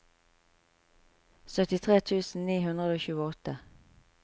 syttitre tusen ni hundre og tjueåtte